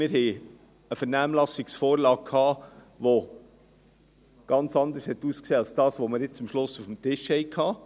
Wir hatten eine Vernehmlassungsvorlage, welche ganz anders aussah als das, was wir jetzt am Schluss auf dem Tisch haben.